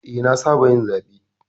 Eh, na saba yin zaɓe.